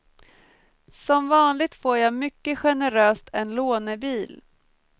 Som vanligt får jag mycket generöst en lånebil.